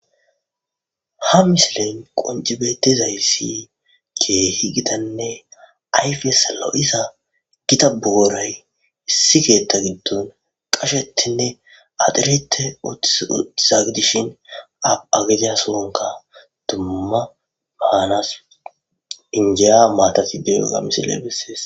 Ha misilen qoncebetizayssi keehi gitanne ayfi salo7isa gita booray issi keetta giddon qashetinne adirite ututizagidishin apagida sonka dumma maanas injiya maatati deyoga misile bessees